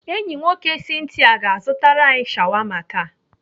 Enyi nwoke Cynthia ga-azụtara anyị shawama taa.